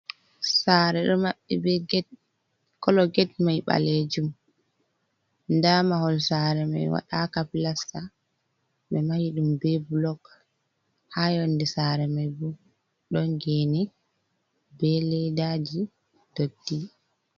Sare ɗo maɓɓe be get kolo get mai ɓalejum nda mahol sare mai waɗaka plasta ɓe mahi ɗum be blog ha yonde sare mai bo, ɗon gene be ledaji dotti.